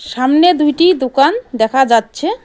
সামনে দুইটি দুকান দেখা যাচ্ছে।